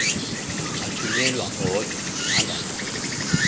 athunyelwa odwa angahambi